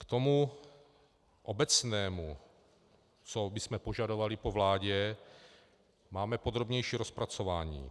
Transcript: K tomu obecnému, co bychom požadovali po vládě, máme podrobnější rozpracování.